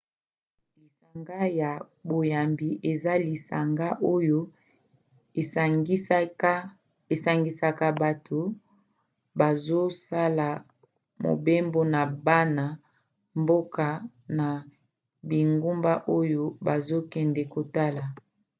lisanga ya boyambi eza lisanga oyo esangisaka bato bazosala mobembo na bana mboka na bingumba oyo bazokende kotala